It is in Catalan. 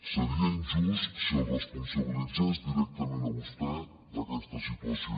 seria injust si el responsabilitzés directament a vostè d’aquesta situació